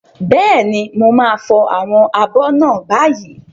Bẹ́ẹ̀ni, mo máa fọ àwọn abọ́ náà báyìí.